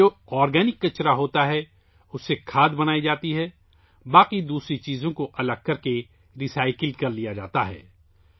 اس میں جو آرگینک کچرا ہوتا ہے اس سے کھاد بنائی جاتی ہے، باقی دوسری چیزوں کو الگ کرکے ری سائیکل کیا جاتا ہے